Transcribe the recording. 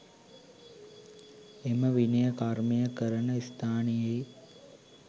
එම විනය කර්මය කරන ස්ථානයෙහි